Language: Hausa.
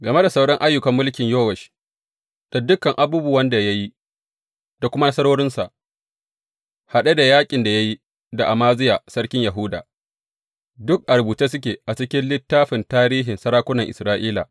Game da sauran ayyukan mulkin Yowash, da dukan abubuwan da ya yi, da kuma nasarorinsa, haɗe da yaƙin da ya yi da Amaziya sarkin Yahuda, duk a rubuce suke a cikin littafin tarihin sarakunan Isra’ila.